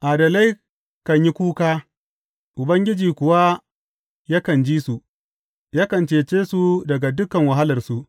Adalai kan yi kuka, Ubangiji kuwa yakan ji su; yakan cece su daga dukan wahalarsu.